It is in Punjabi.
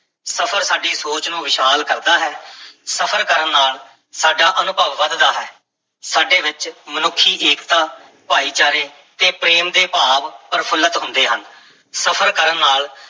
ਸਫ਼ਰ ਸਾਡੀ ਸੋਚ ਨੂੰ ਵਿਸ਼ਾਲ ਕਰਦਾ ਹੈ ਸਫ਼ਰ ਕਰਨ ਨਾਲ ਸਾਡਾ ਅਨੁਭਵ ਵਧਦਾ ਹੈ, ਸਾਡੇ ਵਿੱਚ ਮਨੁੱਖੀ ਏਕਤਾ, ਭਾਈਚਾਰੇ ਤੇ ਪ੍ਰੇਮ ਦੇ ਭਾਵ ਪ੍ਰਫੁੱਲਤ ਹੁੰਦੇ ਹਨ, ਸਫ਼ਰ ਕਰਨ ਨਾਲ